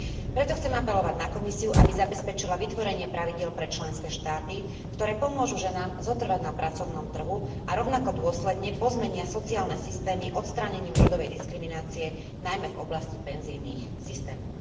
Preto chcem apelovať na Komisiu, aby zabezpečila vytvorenie pravidiel pre členské štáty, ktoré pomôžu ženám zotrvať na pracovnom trhu a rovnako dôsledne pozmenia sociálne systémy odstránením rodovej diskriminácie najmä v oblasti penzijných systémov.